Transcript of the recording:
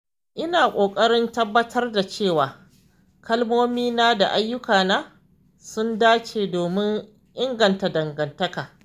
Ina ƙoƙarin tabbatar da cewa kalmomina da ayyukana sun dace domin inganta dangantaka.